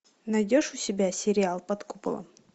найдешь у себя сериал под куполом